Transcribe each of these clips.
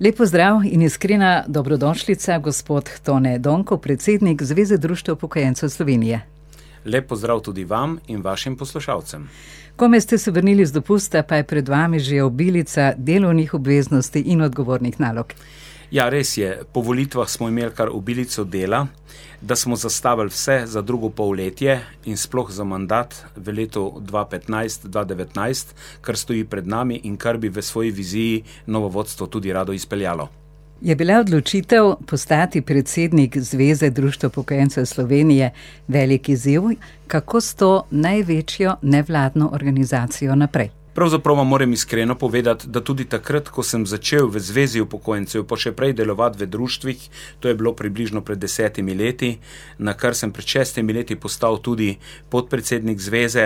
Lep pozdrav in iskrena dobrodošlica, gospod Tone Donko, predsednik Zveze društev upokojencev Slovenije. Lep pozdrav tudi vam in vašim poslušalcem. Komaj ste se vrnili z dopusta, pa je pred vami že obilica delovnih obveznosti in odgovornih nalog. Ja, res je. Po volitvah smo imeli kar obilico dela, da smo zastavili vse za drugo polletje in sploh za mandat v letu dva petnajst-dva devetnajst, kar stoji pred nami in kar bi v svoji viziji novo vodstvo tudi rado izpeljalo. Je bila odločitev postati predsednik Zveze društev upokojencev Slovenije velik izziv? Kako s to največjo nevladno organizacijo naprej? Pravzaprav vam morem iskreno povedati, da tudi takrat, ko sem začel v Zvezi upokojencev, pa še prej delovati v društvih, to je bilo približno pred desetimi leti, nakar sem pred šestimi leti postal tudi podpredsednik Zveze,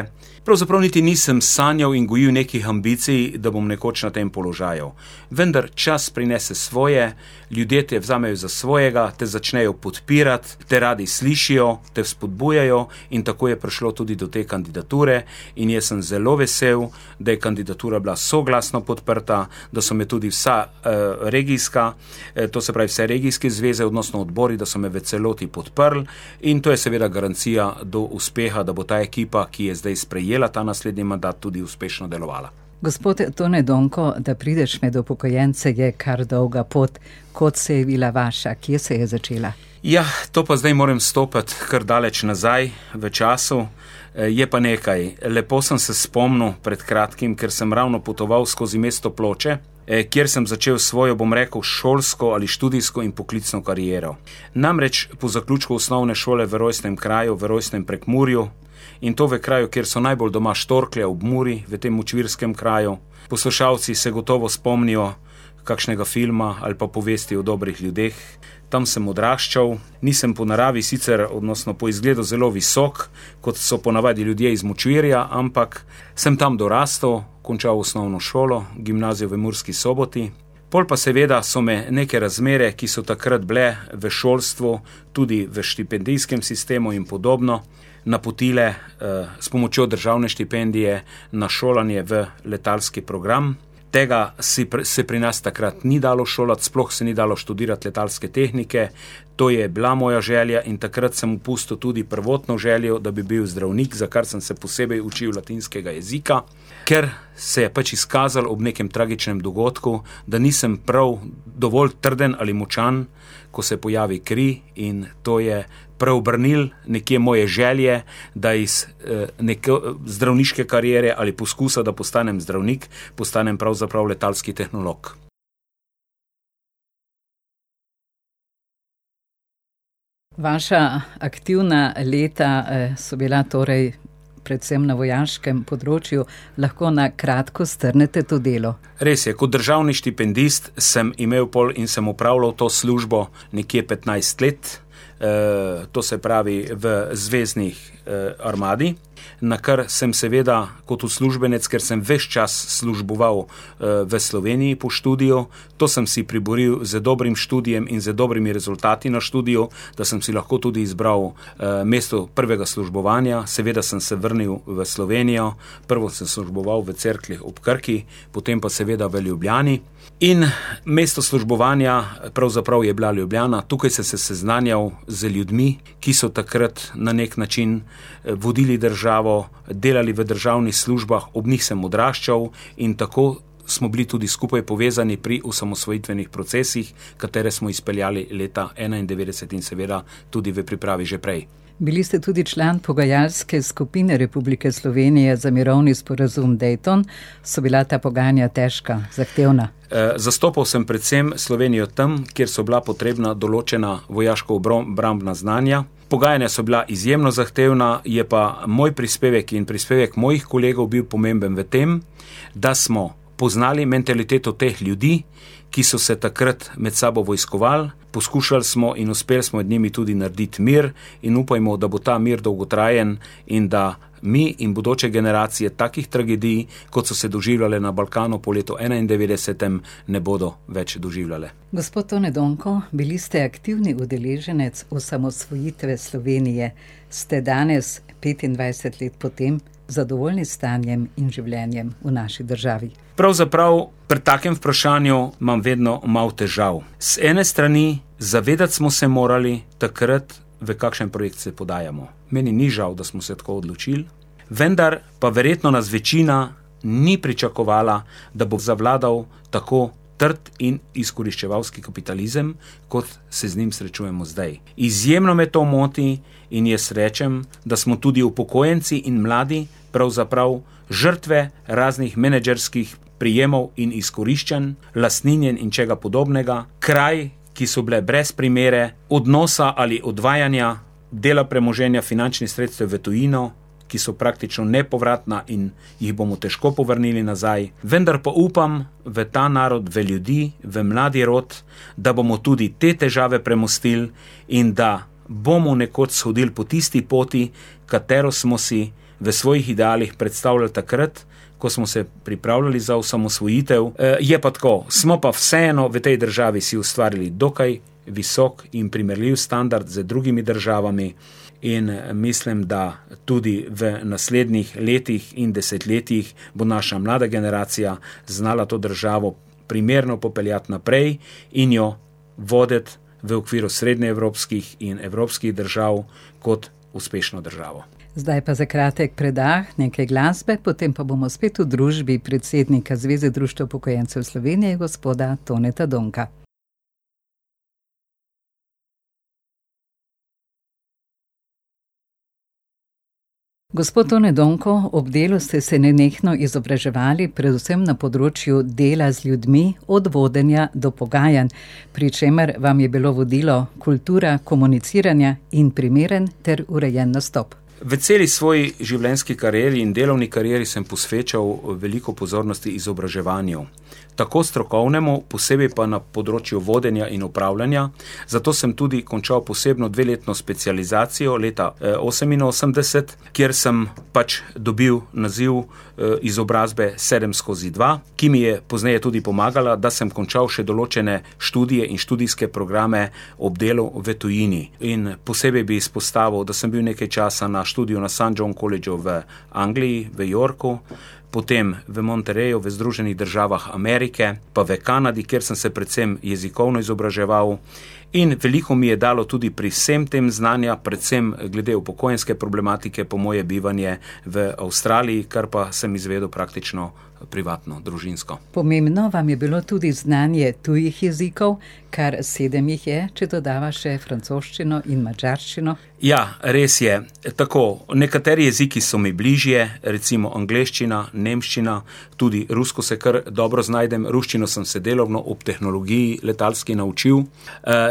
pravzaprav niti nisem sanjal in gojil nekih ambicij, da bom nekoč na tem položaju. Vendar čas prinese svoje, ljudje te vzamejo za svojega, te začnejo podpirati, te radi slišijo, te vzpodbujajo in tako je prišlo tudi do te kandidature in jaz sem zelo vesel, da je kandidatura bila soglasno podprta, da so me tudi vsa, regijska, to se pravi, vse regijske zveze, odnosno odbori, da so me v celoti podprli in to je seveda garancija do uspeha, da bo ta ekipa, ki je zdaj sprejela ta naslednji mandat, tudi uspešno delovala. Gospod Tone Donko, da prideš med upokojence, je kar dolga pot. Kod se je vila vaša? Kje se je začela? Ja, to pa zdaj moram stopiti kar daleč nazaj v času. je pa nekaj. Lepo sem se spomnil pred kratkim, ker sem ravno potoval skozi mesto Ploče, kjer sem začel svojo, bom rekel, šolsko ali študijsko in poklicno kariero. Namreč po zaključku osnovne šole v rojstnem kraju, v rojstnem Prekmurju, in to v kraju, kjer so najbolj doma štorklje, ob Muri, v tem močvirskem kraju, poslušalci se gotovo spomnijo kakšnega filma ali pa Povesti o dobrih ljudeh. Tam sem odraščal. Nisem po naravi sicer, odnosno po izgledu zelo visok, kot so ponavadi ljudje iz močvirja, ampak sem tam dorastel, končal osnovno šolo, gimnazijo v Murski Soboti. Pol pa seveda so me neke razmere, ki so takrat bile v šolstvu, tudi v štipendijskem sistemu in podobno, napotile, s pomočjo državne štipendije na šolanje v letalski program. Tega se pri nas takrat ni dalo šolati, sploh se ni dalo študirati letalske tehnike. To je bila moja želja in takrat sem opustil tudi prvotno željo, da bi bil zdravnik, za kar sem se posebej učil latinskega jezika, ker se je pač izkazalo ob nekem tragičnem dogodku, da nisem prav dovolj trden ali močan, ko se pojavi kri, in to je preobrnilo nekje moje želje, da iz, zdravniške kariere ali poskusa, da postanem zdravnik, postanem pravzaprav letalski tehnolog. Vaša aktivna leta, so bila torej predvsem na vojaškem področju. Lahko na kratko strnete to delo? Res je. Kot državni štipendist sem imel pol in sem opravljal to službo nekje petnajst let. to se pravi v zvezni, armadi. Nakar sem seveda kot uslužbenec, ker sem ves čas služboval, v Sloveniji po študiju, to sem si priboril z dobrim študijem in z dobrimi rezultati na študiju, da sem si lahko tudi izbral, mesto prvega službovanja. Seveda sem se vrnil v Slovenijo. Prvo sem služboval v Cerkljah ob Krki, potem pa seveda v Ljubljani. In mesto službovanja pravzaprav je bila Ljubljana. Tukaj sem se seznanjal z ljudmi, ki so takrat na neki način, vodili državo, delali v državnih službah. Ob njih sem odraščal. In tako smo bili tudi skupaj povezani pri osamosvojitvenih procesih, katere smo izpeljali leta enaindevetdeset, in seveda tudi v pripravi že prej. Bili ste tudi član pogajalske skupine Republike Slovenije za mirovni sporazum Dayton. So bila ta pogajanja težka, zahtevna? zastopal sem predvsem Slovenijo tam, kjer so bila potrebna določena vojaško- -obrambna znanja. Pogajanja so bila izjemno zahtevna. Je pa moj prispevek in prispevek mojih kolegov bil pomemben v tem, da smo poznali mentaliteto teh ljudi, ki so se takrat med sabo vojskovali. Poskušali smo in uspeli smo med njimi tudi narediti mir in upajmo, da bo ta mir dolgotrajen in da mi in bodoče generacije takih tragedij, kot so se doživljale na Balkanu po letu enaindevetdesetem, ne bodo več doživljale. Gospod Tone Donko, bili ste aktivni udeleženec osamosvojitve Slovenije. Ste danes, petindvajset let po tem, zadovoljni s stanjem in življenjem v naši državi? Pravzaprav pri takem vprašanju imam vedno malo težav. Z ene strani, zavedati smo se morali takrat, v kakšen projekt se podajamo. Meni ni žal, da smo se tako odločili, vendar pa verjetno nas večina ni pričakovala, da bo zavladal tako trd in izkoriščevalski kapitalizem, kot se z njim srečujemo zdaj. Izjemno me to moti in jaz rečem, da smo tudi upokojenci in mladi pravzaprav žrtve raznih menedžerskih prijemov in izkoriščanj, lastinjenj in česa podobnega, kraj, ki so bile brez primere, odnosa ali odvajanja dela premoženja, finančnih sredstev v tujino, ki so praktično nepovratna in jih bomo težko povrnili nazaj. Vendar pa upam v ta narod, v ljudi, v mladi rod, da bomo tudi te težave premostili in da bomo nekoč shodili po tisti poti, katero smo si v svojih idealih predstavljali takrat, ko smo se pripravljali za osamosvojitev. je pa tako, smo pa vseeno v tej državi si ustvarili dokaj visok in primerljiv standard z drugimi državami in, mislim, da tudi v naslednjih letih in desetletjih bo naša mlada generacija znala to državo primerno popeljati naprej in jo voditi v okviru srednjeevropskih in evropskih držav kot uspešno državo. Zdaj pa za kratek predah nekaj glasbe, potem pa bomo spet v družbi predsednika Zveze društev upokojencev Slovenije, gospoda Toneta Donka. Gospod Tone Donko, ob delu ste se nenehno izobraževali, predvsem na področju dela z ljudmi, od vodenja do pogajanj, pri čemer vam je bilo vodilo kultura komuniciranja in primerno ter urejen nastop. V celi svoji življenjski karieri in delovni karieri sem posvečal veliko pozornosti izobraževanju. Tako strokovnemu, posebej pa na področju vodenja in upravljanja, zato sem tudi končal posebno dveletno specializacijo leta, oseminosemdeset, kjer sem pač dobil naziv, izobrazbe sedem skozi dva, ki mi je pozneje tudi pomagala, da sem končal še določene študije in študijske programe ob delu v tujini. In posebej bi izpostavil, da sem bil nekaj časa na študiju na St John kolidžu v Angliji, v Yorku. Potem v Monterreyu v Združenih državah Amerike, pa v Kanadi, kjer sem se predvsem jezikovno izobraževal. In veliko mi je dalo tudi pri vsem tem znanja, predvsem glede upokojenske problematike, po moje bivanje v Avstraliji, kar pa sem izvedel praktično privatno, družinsko. Pomembno vam je bilo tudi znanje tujih jezikov. Kar sedem jih je, če dodava še francoščino in madžarščino. Ja, res je. Tako, nekateri jeziki so mi bližje, recimo angleščina, nemščina, tudi rusko se kar dobro znajdem. Ruščino sem se delovno ob tehnologiji letalski naučil.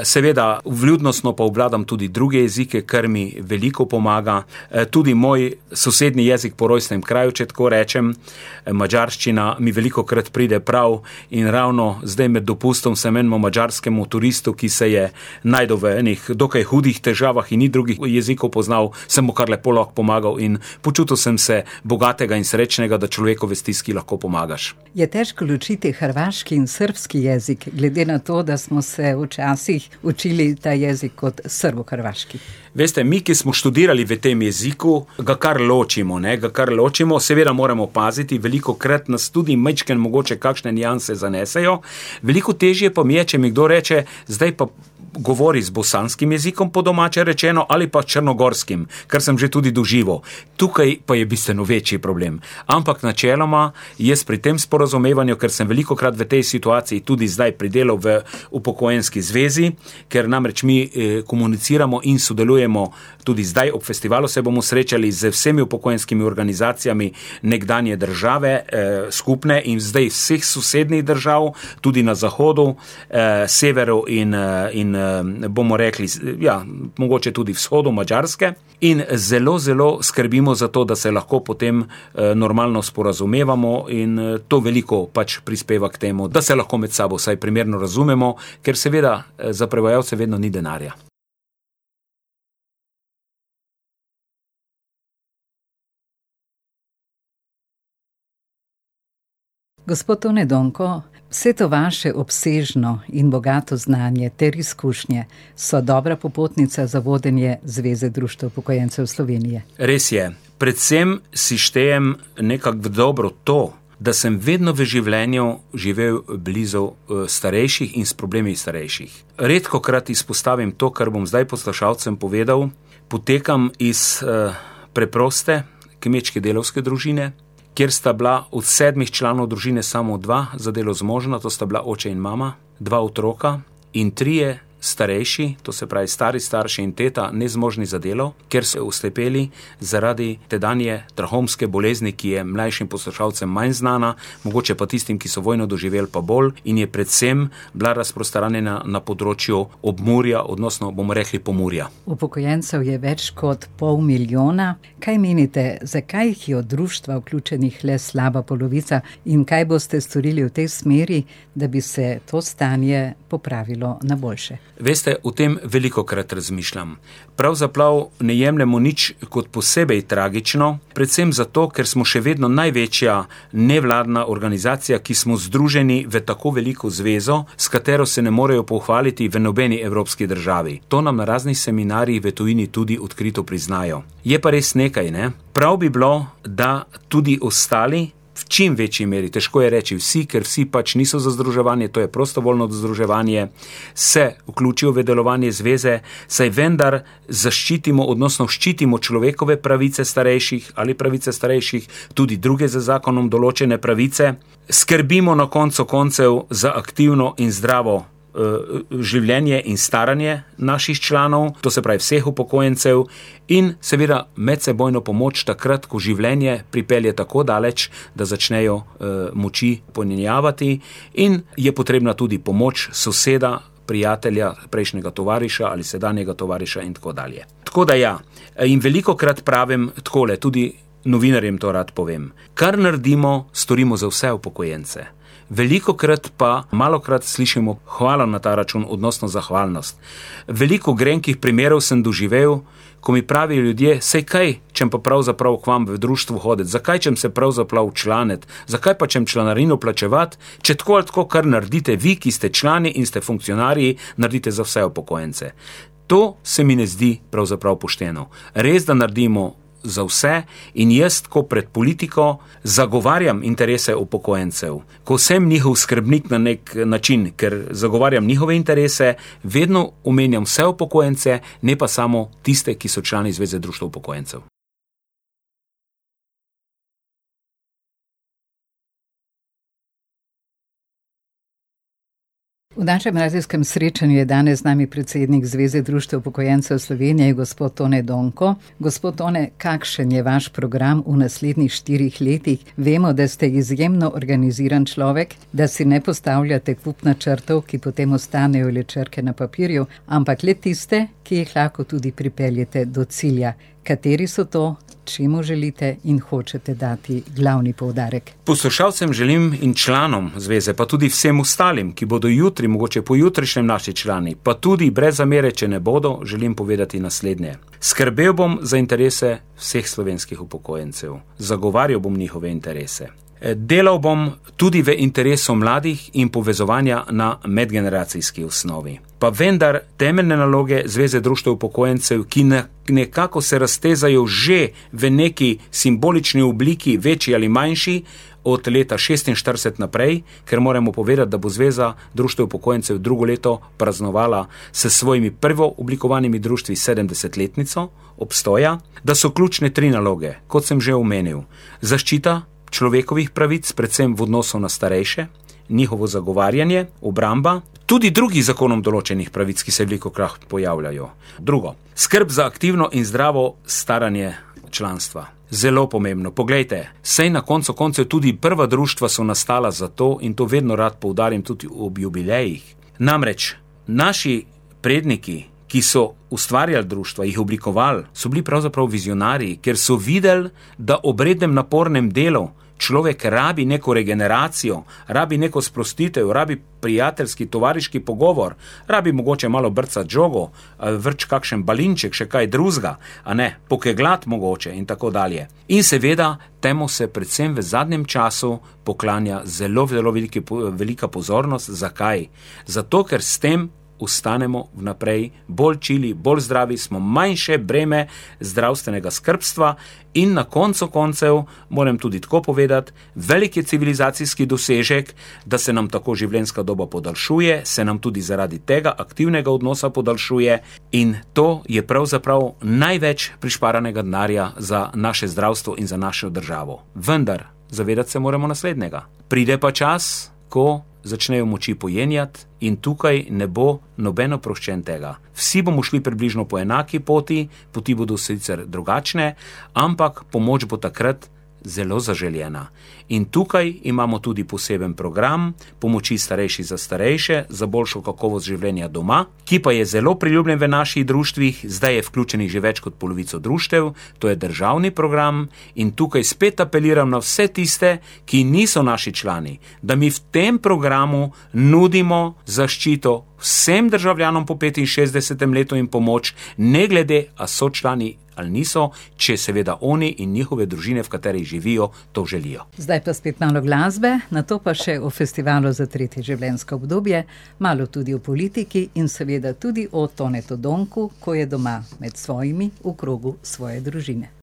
seveda, vljudnostno pa obvladam tudi druge jezike, kar mi veliko pomaga. tudi moj sosednji jezik po rojstnem kraju, če tako rečem, madžarščina, mi velikokrat pride prav. In ravno zdaj med dopustom sem enemu madžarskemu turistu, ki se je našel v enih dokaj hudih težavah in ni drugih jezikov poznal, sem mu kar lepo lahko pomagal in počutil sem se bogatega in srečnega, da človeku v stiski lahko pomagaš. Je težko ločiti hrvaški in srbski jezik, glede na to, da smo se včasih učili ta jezik kot srbohrvaški? Veste, mi, ki smo študirali v tem jeziku, ga kar ločimo, ne, ga kar ločimo. Seveda moramo paziti, velikokrat nas tudi majčkeno mogoče kakšne nianse zanesejo. Veliko težje pa mi je, če mi kdo reče: "Zdaj pa govori z bosanskim jezikom, po domače rečeno, ali pa črnogorskim." Kar sem že tudi doživel. Tukaj pa je bistveno večji problem. Ampak načeloma jaz pri tem sporazumevanju, kar sem velikokrat v tej situaciji tudi zdaj pri delu v upokojenski zvezi, ker namreč mi, komuniciramo in sodelujemo, tudi zdaj ob festivalu se bomo srečali z vsemi upokojenskimi organizacijami nekdanje države, skupne. In zdaj z vseh sosednjih držav, tudi na zahodu, severu in, in, bomo rekli, ja, mogoče tudi vzhodu, Madžarske. In zelo, zelo skrbimo za to, da se lahko potem, normalno sporazumevamo in, to veliko pač prispeva k temu, da se lahko med sabo vsaj primerno razumemo, ker seveda, za prevajalce vedno ni denarja. Gospod Tone Donko, vse to vaše obsežno in bogato znanje ter izkušnje so dobra popotnica za vodenje Zveze društev upokojencev Slovenije. Res je. Predvsem si štejem nekako v dobro to, da sem vedno v življenju živel blizu starejših in s problemi starejših. Redkokrat izpostavim to, kar bom zdaj poslušalcem povedal, potekam iz, preproste kmečke, delavske družine, kjer sta bila od sedmih članov družine samo dva za delo zmožna, to sta bila oče in mama. Dva otroka in trije starejši, to se pravi stari starši in teta, nezmožni za delo, ker so oslepeli zaradi tedanje trahomske bolezni, ki je mlajšim poslušalcem manj znana, mogoče pa tistim, ki so vojno doživeli, pa bolj, in je predvsem bila razprostranjena na področju Obmurja, odnosno, bomo rekli, Pomurja. Upokojencev je več kot pol milijona. Kaj menite, zakaj jih je v društva vključenih le slaba polovica in kaj boste storili v tej smeri, da bi se to stanje popravilo na boljše? Veste, o tem velikokrat razmišljam. Pravzaprav ne jemljemo nič kot posebej tragično, predvsem zato, ker smo še vedno največja nevladna organizacija, ki smo združeni v tako veliko zvezo, s katero se ne morejo pohvaliti v nobeni evropski državi. To nam na raznih seminarjih v tujini tudi odkrito priznajo. Je pa res nekaj, ne. Prav bi bilo, da tudi ostali, v čim večji meri, težko je reči vsi, ker vsi pač niso za združevanje, to je prostovoljno združevanje, se vključijo v delovanje zveze, saj vendar zaščitimo, odnosno, ščitimo človekove pravice starejših ali pravice starejših, tudi druge z zakonom določene pravice. Skrbimo na koncu koncev za aktivno in zdravo, življenje in staranje naših članov, to se pravi, vseh upokojencev, in seveda medsebojno pomoč, takrat ko življenje pripelje tako daleč, da začnejo, moči pojenjavati in je potrebna tudi pomoč soseda, prijatelja, prejšnjega tovariša ali sedanjega tovariša in tako dalje. Tako da ja, in velikokrat pravim takole, tudi novinarjem to rad povem. Kar naredimo, storimo za vse upokojence. Velikokrat pa malokrat slišimo hvala na ta račun, odnosno zahvalnost. Veliko grenkih primerov sem doživel, ko mi pravijo ljudje: "Saj, kaj čem pa pravzaprav k vam v društvo hoditi? Zakaj čem se pravzaprav včlaniti? Zakaj pa čem članarino plačevati, če tako ali tako kar naredite vi, ki ste člani in ste funkcionarji, naredite za vse upokojence?" To se mi ne zdi pravzaprav pošteno. Res, da naredimo za vse, in jaz, ko pred politiko zagovarjam interese upokojencev, ko sem njihov skrbnik na neki način, ker zagovarjam njihove interese, vedno omenjam vse upokojence, ne pa samo tiste, ki so člani Zveze društev upokojencev. V našem radijskem srečanju je danes z nami predsednik Zveze društev upokojencev Slovenije, gospod Tone Donko. Gospod Tone, kakšen je vaš program v naslednjih štirih letih? Vemo, da ste izjemno organiziran človek, da si ne postavljate kup načrtov, ki potem ostanejo le črke na papirju, ampak le tiste, ki jih lahko tudi pripeljete do cilja. Kateri so to? Čemu želite in hočete dati glavni poudarek? Poslušalcem želim in članom Zveze, pa tudi vsem ostalim, ki bodo jutri, mogoče pojutrišnjem naši člani, pa tudi brez zamere, če ne bodo, želim povedati naslednje. Skrbel bom za interese vseh slovenskih upokojencev. Zagovarjal bom njihove interese. delal bom tudi v interesu mladih in povezovanja na medgeneracijski osnovi. Pa vendar temeljne naloge Zveze društev upokojencev, ki nekako se raztezajo že v neki simbolični obliki, večji ali manjši, od leta šestinštirideset naprej, ker moramo povedati, da bo Zveza društev upokojencev drugo leto praznovala s svojimi prvooblikovanimi društvi sedemdesetletnico obstoja, da so ključne tri naloge. Kot sem že omenil. Zaščita človekovih pravic, predvsem v odnosu na starejše, njihovo zagovarjanje, obramba tudi drugih z zakonom določenih pravic, ki se velikokrat pojavljajo. Drugo. Skrb za aktivno in zdravo staranje članstva. Zelo pomembno. Poglejte, saj na koncu koncev tudi prva društva so nastala zato in to vedno rad poudarim, tudi ob jubilejih. Namreč naši predniki, ki so ustvarjali društva, jih oblikovali, so bili pravzaprav vizionarji. Ker so videli, da ob rednem napornem delu človek rabi neko regeneracijo, rabi neko sprostitev, rabi prijateljski, tovariški pogovor, rabi mogoče malo brcati žogo, vreči kakšen balinček, še kaj drugega, a ne. Pokegljati mogoče, in tako dalje. In seveda temu se predvsem v zadnjem času poklanja zelo velika pozornost. Zakaj? Zato, ker s tem ostanemo vnaprej bolj čili, bolj zdravi, smo manjše breme zdravstvenega skrbstva in na koncu koncev, moram tudi tako povedati, velik je civilizacijski dosežek, da se nam tako življenjska doba podaljšuje, se nam tudi zaradi tega aktivnega odnosa podaljšuje in to je pravzaprav največ prišparanega denarja za naše zdravstvo in za našo državo. Vendar zavedati se moramo naslednjega. Pride pa čas, ko začnejo moči pojenjati in tukaj ne bo noben oproščen tega. Vsi bomo šli približno po enaki poti. Poti bodo sicer drugačne, ampak pomoč bo takrat zelo zaželena. In tukaj imamo tudi poseben program pomoči Starejši za starejše za boljšo kakovost življenja doma, ki pa je zelo priljubljen v naših društvih. Zdaj je vključenih že več kot polovico društev. To je državni program. In tukaj spet apeliram na vse tiste, ki niso naši člani, da mi v tem programu nudimo zaščito vsem državljanom po petinšestdesetem letu in pomoč, ne glede, a so člani ali niso, če seveda oni in njihove družine, v katerih živijo, to želijo. Zdaj pa spet malo glasbe, nato pa še o festivalu za tretje življenjsko obdobje. Malo tudi o politiki in seveda tudi o Tonetu Donku, ko je doma med svojimi, v krogu svoje družine.